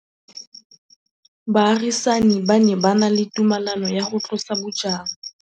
Baagisani ba ne ba na le tumalanô ya go tlosa bojang.